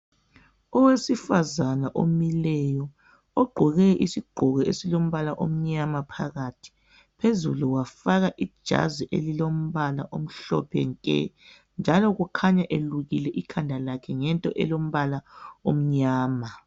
Owesifazana omileyo ogqoke isigqoko esilombala omnyama phakathi phezulu wafaka ijazi elilombala omhlophe nke njalo kukhanya elukile ikhanda lakhe ngento elombala omnyama